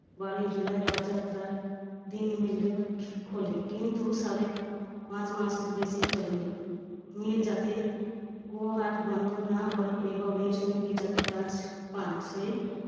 বারই জুলাই রথযাত্রার দিন mill jute খোলে। কিন্তু সাড়ে পাঁচ মাস বেশি চলেনি। mill যাতে গুয়াহাটি বন্ধর না হয় এবং এই শ্রমিকের যাতে কাজ পান সেই